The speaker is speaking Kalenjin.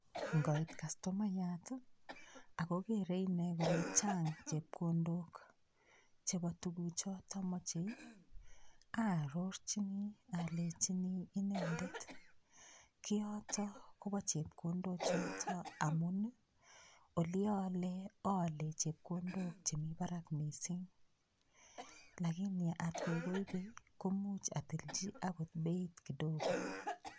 Ngoit kastomayat akokerei ine kole chang' chepkondok chebo tukuchoto mochei aarorchini alechini inendet kiyoto kobo chepkondo choto amun oli oole oole chepkondok chemi barak mising' lakini atkoi koibei komuuch atilchi akot beit kidogo